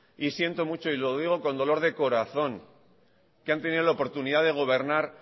y siento mucho y lo digo con dolor de corazón que han tenido la oportunidad de gobernar